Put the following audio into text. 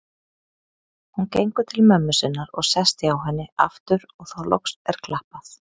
Hún gengur til mömmu sinnar og sest hjá henni aftur og þá loks er klappað.